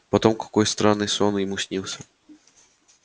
потом какой странный сон ему снился